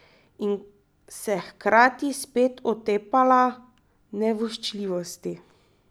In se hkrati spet otepala nevoščljivosti.